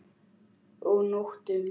Og nóttum!